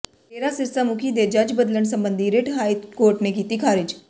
ਡੇਰਾ ਸਿਰਸਾ ਮੁਖੀ ਦੀ ਜੱਜ ਬਦਲਣ ਸਬੰਧੀ ਰਿੱਟ ਹਾਈ ਕੋਰਟ ਨੇ ਕੀਤੀ ਖਾਰਿਜ